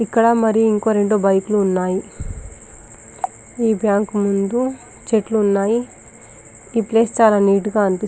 ఇక్కడ మరి ఒక రెండు బైకులు ఉన్నాయి ఈ బ్యాంకు ముందు చెట్లు ఉన్నాయి ఈ ప్లేస్ చాల నీట్ గ అని --.